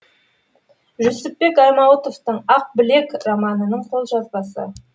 жүсіпбек аймауытовтың ақбілек романының қолжазбасы